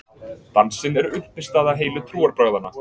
Dansinn er uppistaða heilu trúarbragðanna.